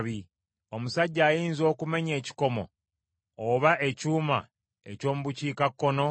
“Omusajja ayinza okumenya ekikomo oba ekyuma eky’omu bukiikakkono?